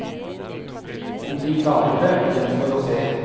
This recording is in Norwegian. Om de klarer det gjenstår å se.